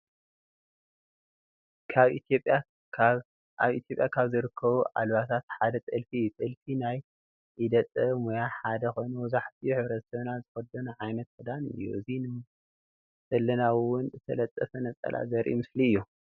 አብ ኢትዮጲያ ካብ ዝርከቡ አልባሳት ሓደ ጥልፊ እዩ። ጥልፊ ናይ ኢደ ጥበብ ሙያ ሓደ ኮይኑ መብዛሕቲኡ ሕብረተሰብና ዝክደኖ ዓይነት ክዳን እዩ። እዚ ንምልከቶ ዘለና እውን ዝተጠለፈ ነፀላ ዘሪኢ ምስሊ እዩ።